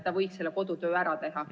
Ta võiks selle kodutöö ära teha.